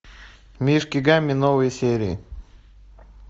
мишки гамми новые серии